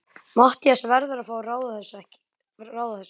Matthías verður að fá að ráða þessu, ekki satt?